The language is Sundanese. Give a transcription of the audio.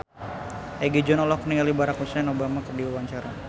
Egi John olohok ningali Barack Hussein Obama keur diwawancara